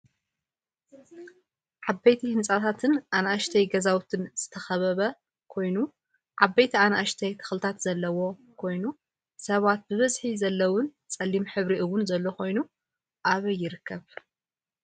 ዓበይቲ ህንፃታትን ኣናእሽተይ ገዛውትን ዝተከበበ ኮይኑዓበይቲ ኣናእሽተይ ተክልታት ዘለዎ ኮይኑ ሰባት ብበዝሒ ዘለውን ፀሊም ሕብሪ እውን ዘሎ ኮይኑ ኣበይ ይርከብ?